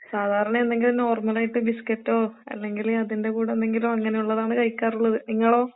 സാധാരണ എന്തെങ്കിലും നോർമലായിട്ട് ബിസ്ക്കറ്റോ അല്ലെങ്കില് അതിന്റെ കൂടെന്തെങ്കിലോ അങ്ങനെയൊള്ളതാണ് കഴിക്കാറുള്ളത്. നിങ്ങളോ?